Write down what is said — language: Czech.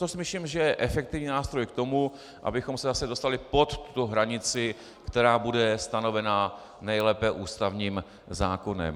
To si myslím, že je efektivní nástroj k tomu, abychom se zase dostali pod tu hranici, která bude stanovena nejlépe ústavním zákonem.